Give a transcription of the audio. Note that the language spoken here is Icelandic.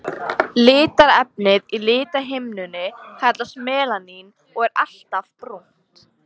Litarefnið í lithimnunni kallast melanín og er alltaf brúnt.